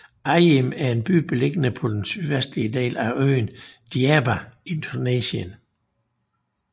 Ajim er en by beliggende på den sydvestlige del af øen Djerba i Tunesien